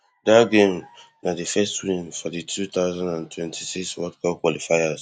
dat game na di first win for di two thousand and twenty-six world cup qualifiers